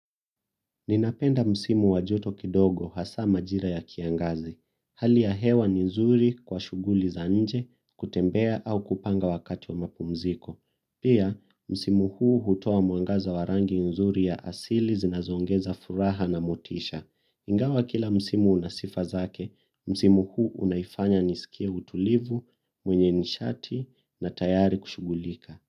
Ninapenda msimu wa joto kidogo hasa makira ya kiangazi hali ya hewa ni nzuri kwa shughuli za nje kutembea au kupanga wakati wa mapumziko pia, msimu huu hutoa mwangaza wa rangi nzuri ya asili zinazoongeza furaha na motisha. Ingawa kila msimu una sifa zake msimu huu unanifanya nihisi mtulivu mwenye ni shati na tayari kushughulika.